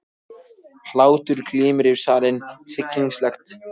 Hlátur glymur yfir salinn, hryssingslegt hnegg.